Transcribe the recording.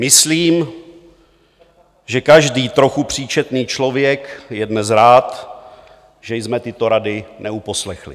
Myslím, že každý trochu příčetný člověk je dnes rád, že jsme tyto rady neuposlechli.